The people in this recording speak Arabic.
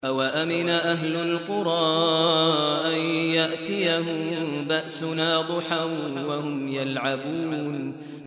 أَوَأَمِنَ أَهْلُ الْقُرَىٰ أَن يَأْتِيَهُم بَأْسُنَا ضُحًى وَهُمْ يَلْعَبُونَ